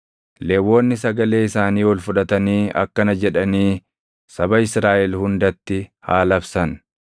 Lewwonni sagalee isaanii ol fudhatanii akkana jedhanii saba Israaʼel hundatti haa labsan: